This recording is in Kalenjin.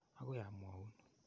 Akoi aa mwaun.